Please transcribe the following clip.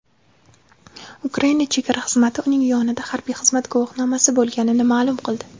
Ukraina chegara xizmati uning yonida harbiy xizmat guvohnomasi bo‘lganini ma’lum qildi.